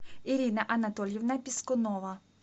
ирина анатольевна пискунова